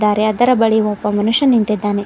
ಆರೇ ಅದರ ಬಳಿ ಒಬ್ಬ ಮನುಷ್ಯ ನಿಂತಿದ್ದಾನೆ.